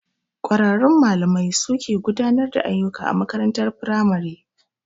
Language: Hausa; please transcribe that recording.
Kwararrun malamai su suke gudanar da ayyuka a makarantar firamare.